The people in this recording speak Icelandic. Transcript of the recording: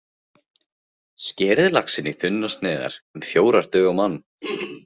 Skerið laxinn í þunnar sneiðar, um fjórar duga á mann.